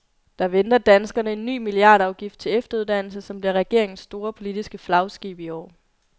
Der venter danskerne en ny milliardafgift til efteruddannelse, som bliver regeringens store, politiske flagskib i år.